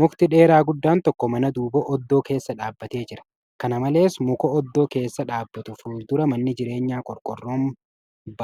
Mukti dheeraa guddaan tokko mana duuba oddoo keessa dhaabbatee jira . Kan malees , muka oddoo keessa dhaabbatu fuuldura manni jireenyaa qorqoorroon